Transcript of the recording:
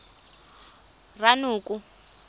ranoko